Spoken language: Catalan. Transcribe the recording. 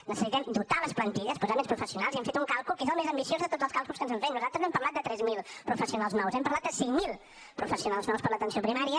necessitem dotar les plantilles posar més professionals i hem fet un càlcul que és el més ambiciós de tots els càlculs que ens han fet nosaltres no hem parlat de tres mil professionals nous hem parlat de cinc mil professionals nous per a l’atenció primària